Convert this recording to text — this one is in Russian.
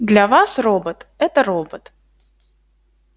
для вас робот это робот